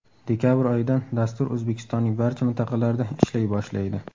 Dekabr oyidan dastur O‘zbekistonning barcha mintaqalarida ishlay boshlaydi.